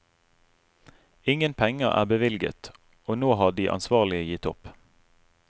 Ingen penger er bevilget, og nå har de ansvarlige gitt opp.